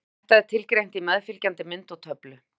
Þetta er tilgreint í meðfylgjandi mynd og töflu.